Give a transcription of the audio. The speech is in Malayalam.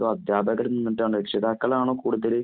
അതോ അധ്യാപകരില്‍ നിന്നിട്ടാണോ രക്ഷിതാക്കളാണോ കൂടുതല്,